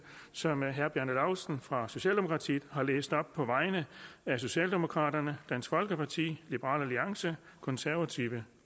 som herre bjarne laustsen fra socialdemokraterne har læst op på vegne af socialdemokraterne dansk folkeparti liberal alliance konservative